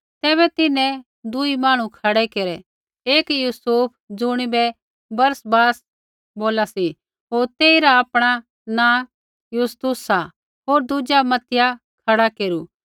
तैबै तिन्हैं दूई मांहणु खड़ै केरै एक यूसुफ ज़ुणिबै बरसब्बास बोला सी होर तेइरा आपणा नाँ यूस्तुस सा होर दुजा मत्तित्याह खड़ा केरू